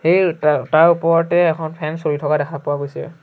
এ তা তাৰ ওপৰতে এখন ফেন চলি থকা দেখা পোৱা গৈছে।